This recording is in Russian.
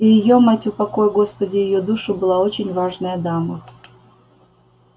и её мать упокой господи её душу была очень важная дама